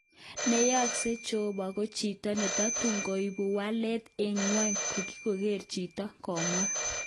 Neyesho jeobo ko chito netotun koibu walet eng ngwony inkoker chito, kamwa